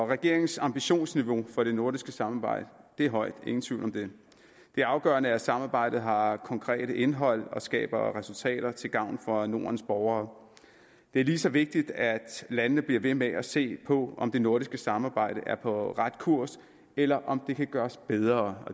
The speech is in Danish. regeringens ambitionsniveau for det nordiske samarbejde er højt ingen tvivl om det det afgørende er at samarbejdet har konkret indhold og skaber resultater til gavn for nordens borgere det er lige så vigtigt at landene bliver ved med at se på om det nordiske samarbejde er på ret kurs eller om det kan gøres bedre